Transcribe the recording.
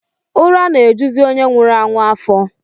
Ụra na-ejuzi onye nwụrụ anwụ afọ